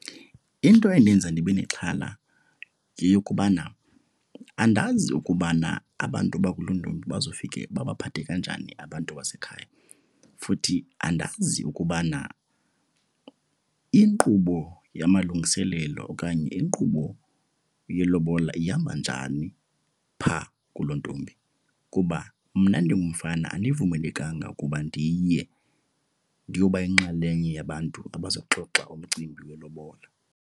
Into endenza ndibe nexhala yeyokubana andazi ukubana abantu bakulontombi bazofike babaphathe kanjani abantu basekhaya. Futhi andazi ukubana inkqubo yamalungiselelo okanye inkqubo yelobola ihamba njani phaa kulontombi kuba mna ndingumfana andivumelekanga ukuba ndiye ndiyoba yinxalenye yabantu abazoxoxa umcimbi welobola.